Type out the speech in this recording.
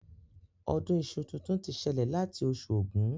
Ọdún iṣu tuntun ti ṣẹlẹ̀ láti oṣù Ògún